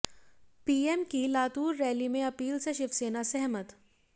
PM की Latur rally में appeal से शिवसेना सहमत